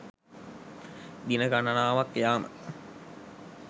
දින ගණනාවක් යාම